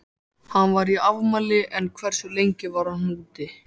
Hann var í afmæli en hversu lengi var hann úti?